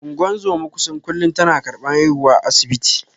Ungozoma kusan kullun tana karban haihuwa asibiti.